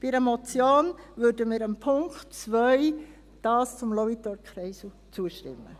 Bei einer Motion würden wir dem Punkt 2 zum Lauitorkreisel zustimmen.